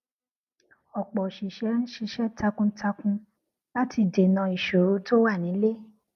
ọpọ oṣìṣẹ ń ṣiṣẹ takuntakun láti dènà ìṣòro tó wà nílé